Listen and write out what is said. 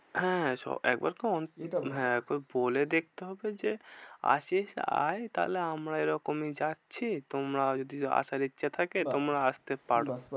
হ্যাঁ সব একবার তো এটা বল তো বলে দেখতে হবে যে, আসিস আয় তাহলে আমরা এরকম যাচ্ছি তোমরা যদি আসার ইচ্ছা থাকে বাহ্ তোমরা বাহ্ আসতে পারো ব্যাস ব্যাস।